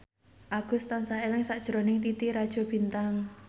Agus tansah eling sakjroning Titi Rajo Bintang